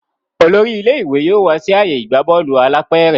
olórí ilé ìwé yóò wá sí ààyè ìgbà Bọ́ọ̀lù alápẹ̀rẹ̀